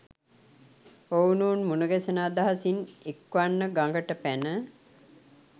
ඔවුනොවුන් මුණගැසෙන අදහසින් එක්වන්ව ගඟට පැන